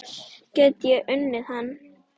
Get ég unnið hann?